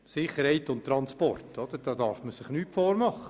Sicherheit und Transport – da darf man sich nichts vormachen.